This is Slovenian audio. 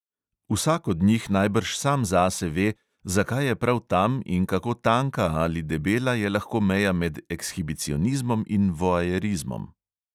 Vsak od njih najbrž sam zase ve, zakaj je prav tam in kako tanka ali debela je lahko meja med ekshibicionizmom in voajerizmom.